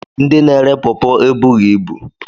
Ndị na-ere pọpọ ebughị ibu.